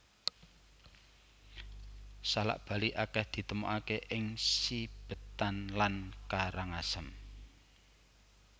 Salak Bali akèh ditemokaké ing Sibetan lan Karangasem